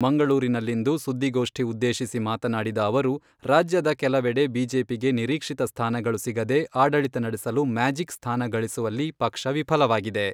ಮಂಗಳೂರಿನಲ್ಲಿಂದು ಸುದ್ದಿಗೋಷ್ಠಿ ಉದ್ದೇಶಿಸಿ ಮಾತನಾಡಿದ ಅವರು, ರಾಜ್ಯದ ಕೆಲವೆಡೆ ಬಿಜೆಪಿಗೆ ನಿರೀಕ್ಷಿತ ಸ್ಥಾನಗಳು ಸಿಗದೆ ಆಡಳಿತ ನಡೆಸಲು ಮ್ಯಾಜಿಕ್ ಸ್ಥಾನಗಳಿಸುವಲ್ಲಿ ಪಕ್ಷ ವಿಫಲವಾಗಿದೆ.